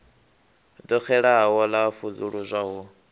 ḓo xelaho ḽa vusuludzwa ho